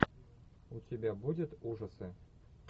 у тебя будет ужасы